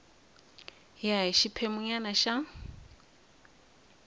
ya hi xiphemu nyana xa